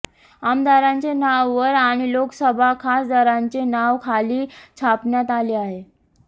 आमदारांचे नाव वर आणि लोकसभा खासदारांचे नाव खाली छापण्यात आले आहे